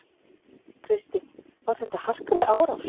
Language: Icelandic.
Kristín: Var þetta harkaleg árás?